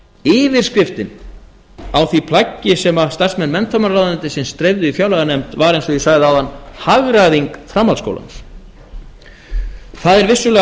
yfirskriftin á því plaggi sem starfsmenn menntamálaráðuneytisins dreifðu í fjárlaganefnd var eins og ég sagði áðan hagræðing framhaldsskólans það er vissulega hægt